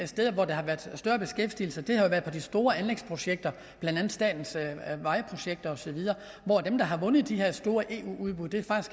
steder hvor der har været større beskæftigelse har været på de store anlægsprojekter blandt andet statens vejprojekter osv og dem der har vundet de her store eu udbud